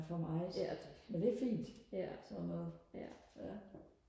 ja det ja ja